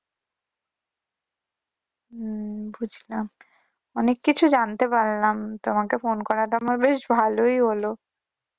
হম বুঝলাম অনেক কিছুই জানতে পারলাম তোমেক ফোন করাটা বেশ ভালোই হলো।